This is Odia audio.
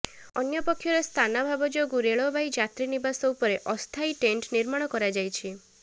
ଅନ୍ୟପକ୍ଷରେ ସ୍ଥାନାଭାବ ଯୋଗୁ ରେଳବାଇ ଯାତ୍ରୀ ନିବାସ ଉପରେ ଅସ୍ଥାୟୀ ଟେଣ୍ଟ ନିର୍ମାଣ କରାଯାଇଛି